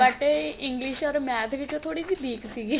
but English or math ਵਿਚੋਂ ਥੋੜੀ ਜੀ week ਸੀਗੀ